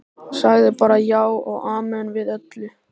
Sagði bara já og amen við öllu.